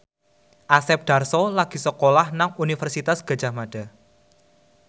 Asep Darso lagi sekolah nang Universitas Gadjah Mada